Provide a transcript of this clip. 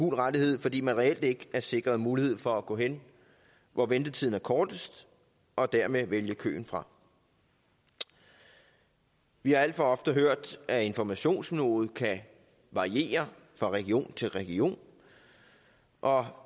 rettighed fordi man reelt ikke er sikret mulighed for at gå hen hvor ventetiden er kortest og dermed vælge køen fra vi vi har alt for ofte hørt at informationsniveauet kan variere fra region til region og